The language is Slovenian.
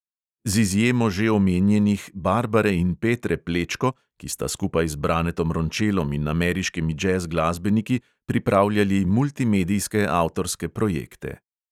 Z izjemo že omenjenih barbare in petre plečko, ki sta skupaj z branetom rončelom in ameriškimi džez glasbeniki pripravljali multimedijske avtorske projekte.